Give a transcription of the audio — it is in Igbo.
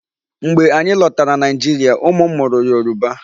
Mgbe anyị lọtara Nigeria, ụmụ m mụrụ Yoruba.